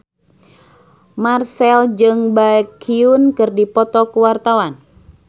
Marchell jeung Baekhyun keur dipoto ku wartawan